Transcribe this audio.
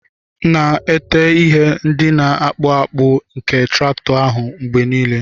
Na-ete ihe ndị na-akpụ akpụ nke traktọ ahụ mgbe nile.